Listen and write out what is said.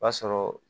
O b'a sɔrɔ